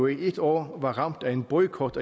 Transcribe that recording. et år var ramt af en boykot